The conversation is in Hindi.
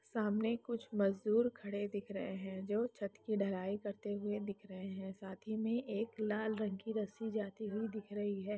सामने कुछ मजदूर खड़े दिख रहे हैं जो छत की ढलाई करते हुए दिख रहे हैं साथ ही में एक लाल रंग की रस्सी जाती हुई दिख रही है।